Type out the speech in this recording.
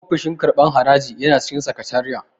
Ofishin karɓan haraji yana cikin sakatariya